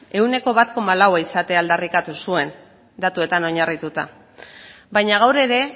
ehuneko bat koma laua izatea aldarrikatu zuen datuetan oinarrituta baina gaur ere